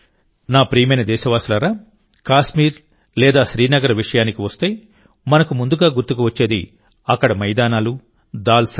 నా ప్రియమైన దేశవాసులారా కాశ్మీర్ లేదా శ్రీనగర్ విషయానికి వస్తే మనకు ముందుగా గుర్తుకు వచ్చేది అక్కడి మైదానాలు దాల్ సరస్సు